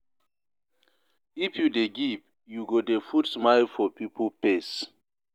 If you dey give, you go dey put smile for pipo face.